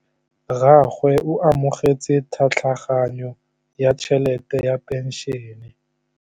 Rragwe o amogetse tlhatlhaganyô ya tšhelête ya phenšene.